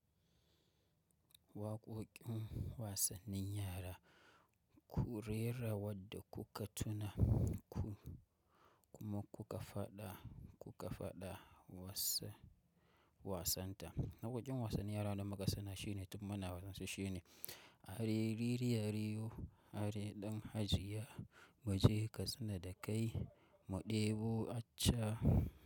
Waƙoƙin wasannin yara ku rera wadda kuka tuna kuma kuka faɗa, kuka faɗa wasa wasan ta. Na waƙoƙin wasannin yara da muka sani shine, tun muna wasan su shi ne “Are riri areyo, are ɗan Hajiya, muje katsina da kai, mu ɗebo acca”.